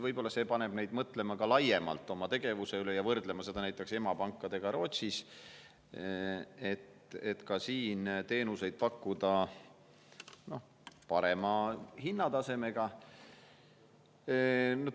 Võib-olla paneb see neid ka laiemalt oma tegevuse üle mõtlema ja võrdlema seda tegevust näiteks emapankade tegevusega Rootsis, mõtlema, kuidas ka siin parema hinnatasemega teenuseid pakkuda.